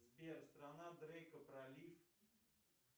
сбер страна дрейка пролив